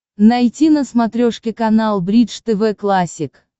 найти на смотрешке канал бридж тв классик